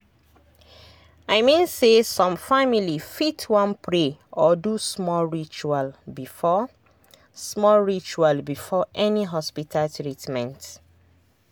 i mean say some family fit wan pray or do small ritual before small ritual before any hospita treatment